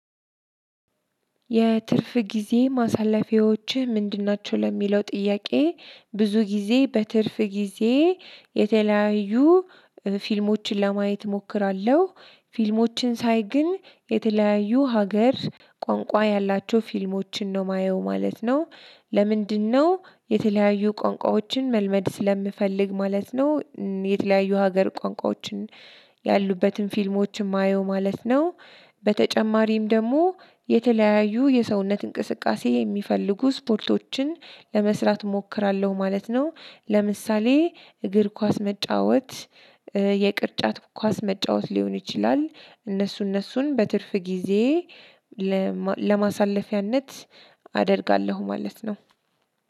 የትርፍ ጊዜ ማሳለፊያዎችህ ምንድን ናቸው? ለሚለው ጥያቄ ብዙ ጊዜ በትርፍ ጊዜ የተለያዩ ፊልሞችን ለማየት እሞክራለሁ ፊልሞችን ሳይ ግን የተለያዩ ሀገር ቋንቋ ያላቸው ፊልሞችን ነው ማየው ማለት ነው። ለምንድነው? የተለያዩ ቋንቋዎችን መልመድ ስለምፈልግ ማለት ነው። የተለያዩ ሀገር ቋንቋዎችን ያሉበትን ፊልሞች የማየው ማለት ነው። በተጨማሪም ደግሞ የተለያዩ የሰውነት እንቅስቃሴ የሚፈልጉ ስፖርቶችን ለመስራት እሞክራለሁ ማለት ነው። ለምሳሌ እግር ኳስ መጫወት። የቅርጫት ኳስ መጫወት ሊሆን ይችላል። እነሱ እነሱን በትርፍ ጊዜ ለማ ለማሳለፊያነት አደርጋለሁ ማለት ነው።